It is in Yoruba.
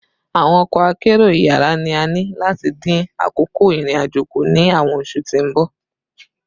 Awọn ọkọ akero iyara ni a ni lati din akoko irin-ajo ku ni awọn oṣu ti n bọ